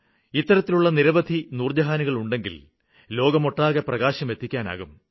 എന്നാല് ഇത്തരത്തിലുള്ള നിരവധി നൂര്ജഹാനുകളുണ്ടെങ്കില് ലോകമൊട്ടാകെ പ്രകാശം എത്തിക്കാനാകും